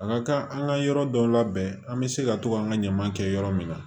A ka kan an ka yɔrɔ dɔ labɛn an bɛ se ka to k'an ka ɲaman kɛ yɔrɔ min na